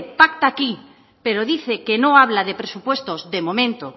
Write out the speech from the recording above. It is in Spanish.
pacta aquí pero dice que no habla de presupuestos de momento